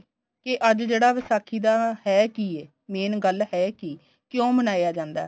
ਕੀ ਅੱਜ ਜਿਹੜਾ ਵਿਸਾਖੀ ਦਾ ਹੈ ਕੀ ਏ main ਗੱਲ ਹੈ ਕੀ ਕਿਉਂ ਮਨਾਇਆ ਜਾਂਦਾ